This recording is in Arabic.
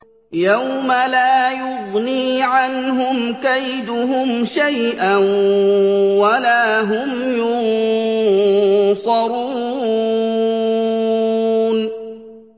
يَوْمَ لَا يُغْنِي عَنْهُمْ كَيْدُهُمْ شَيْئًا وَلَا هُمْ يُنصَرُونَ